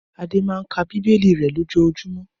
Adé máa ń ka Bíbélì rẹ̀ lójoojúmọ́.